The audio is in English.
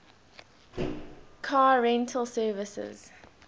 car rental services